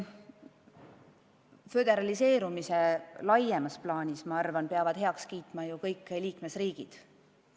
Föderaliseerumise laiemas plaanis aga peavad heaks kiitma kõik liikmesriigid.